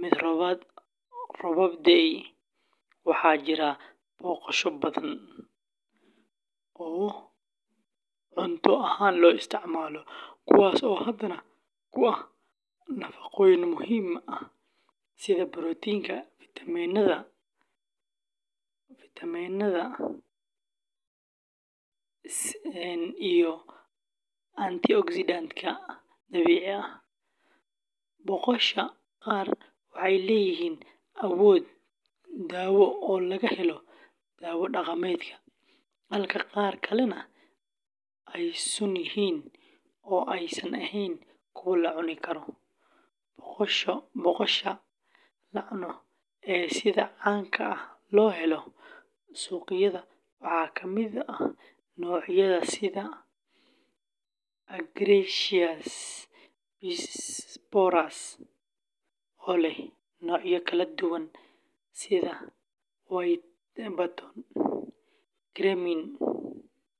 mid roobab da’ay. Waxaa jira boqosho badan oo cunto ahaan loo isticmaalo, kuwaas oo hodan ku ah nafaqooyin muhiim ah sida borotiinka, fiitamiinnada, seleniumka, iyo antioxidants-ka dabiiciga ah. Boqosha qaar waxay leeyihiin awood dawo oo laga helo dawo dhaqameedka, halka qaar kalena ay sun yihiin oo aysan ahayn kuwo la cuni karo. Boqosha la cuno ee sida caanka ah looga helo suuqyada waxaa ka mid ah noocyada sida Agaricus bisporus, oo leh noocyo kala duwan sida white button, cremini.